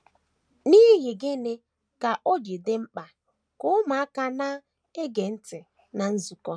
N’ihi gịnị ka o ji dị mkpa ka ụmụaka na - ege ntị ná nzukọ?